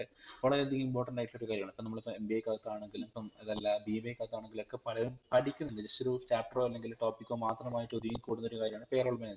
ക്കെ വളരെ അധികം Important ആയിട്ടുള്ളൊരു കാര്യണ് ഇപ്പം നമ്മളിപ്പം MBA ക്കകതാണെങ്കിലും ഇപ്പം അത് അല്ല BBA ക്കകതാണെങ്കിലുഒക്കെ പലതും പടിക്കുന്നുണ്ട് just ഒരു Chapter റോ അല്ലെങ്കിൽ topic കോമാത്രം ആയിട്ട് ഒതുങ്ങികൂടുന്ന ഒരു കാര്യണ് Pay roll management